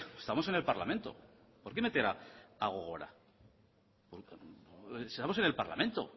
estamos en el parlamento por qué meter a gogora estamos en el parlamento